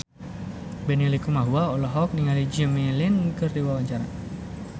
Benny Likumahua olohok ningali Jimmy Lin keur diwawancara